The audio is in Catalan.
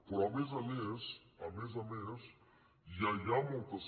però a més a més a més a més ja hi ha moltes